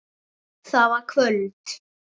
Það var kvöld.